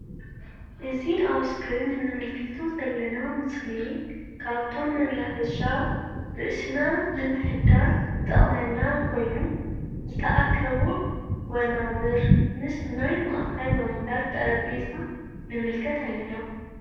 እዚ አብ እስክሪን እንምልከቶ ዘለና ምስሊ ካብቶም መናፈሻ ረእስና ንምሕዳስ ዝጠቅመና ኮይኑ ዝተአከቡ ወናብር ምስ ናይ ማእከል ወንበር ጠረጲዛ ንምልከት አለና::